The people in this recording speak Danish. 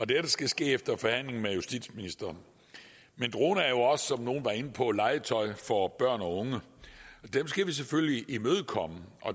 dette skal ske efter forhandling med justitsministeren men droner er jo også som nogle var inde på legetøj for børn og unge det skal vi selvfølgelig imødekomme